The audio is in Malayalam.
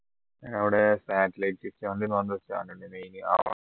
അവിടെ സാറ്റലൈറ്റ് ഒരു stand ഉണ്ടനു